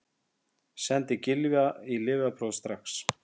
Sendið Gylfa í lyfjapróf strax!